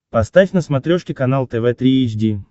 поставь на смотрешке канал тв три эйч ди